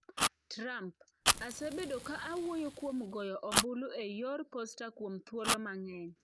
Trump: "Asebedo ka awuoyo kuom goyo ombulu e yor posta kuom thuolo mang'eny."